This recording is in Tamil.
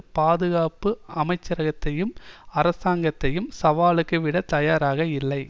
பாதுகாப்பு அமைச்சரகத்தையும் அரசாங்கத்தையும் சாவலுக்கு விட தயாராக இல்லை